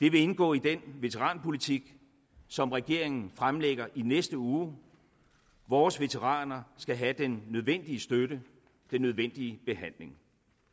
det vil indgå i den veteranpolitik som regeringen fremlægger i næste uge vores veteraner skal have den nødvendige støtte den nødvendige behandling